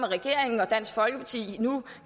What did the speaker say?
regeringen og dansk folkeparti nu